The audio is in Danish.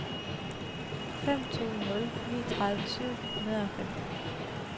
fem to nul ni tredive syv hundrede og femten